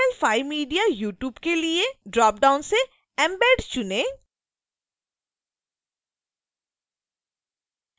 html5mediayoutube के लिए dropdown से embed चुनें